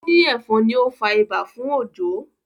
o ni efon ní o fà ibà fún Ojo.